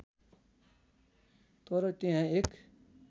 तर त्यहाँ एक